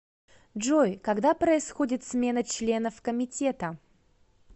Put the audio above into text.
джой когда происходит смена членов комитета